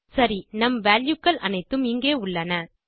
சரி நம் வால்யூ கள் அனைத்தும் இங்கே உள்ளன